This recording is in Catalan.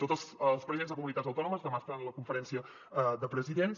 tots els presidents de comunitats autònomes demà seran a la conferència de presidents